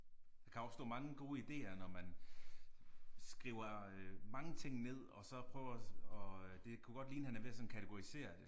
Der kan opstå mange gode ideer når man skriver øh mange ting ned og så prøver og det kunne godt ligne han er ved at sådan kategorisere det